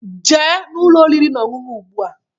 Jee Ụlọ oriri na ọṅụṅụ ugba!